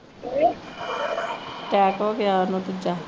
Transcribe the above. attack ਹੋ ਗਿਆ ਉਹਨੂੰ ਦੂਜਾ